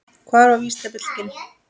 Hvað var vísindabyltingin?